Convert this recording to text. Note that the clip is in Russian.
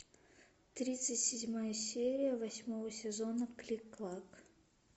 тридцать седьмая серия восьмого сезона клик клак